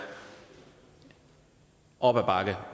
op ad bakke